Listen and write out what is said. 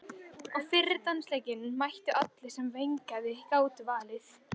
Á fyrri dansleikinn mættu allir sem vettlingi gátu valdið.